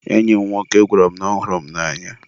enyi m nwoke gwara m na ọ hụrụ m n'anya.